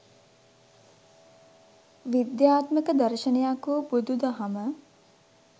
විද්‍යාත්මක දර්ශනයක් වූ බුදුදහම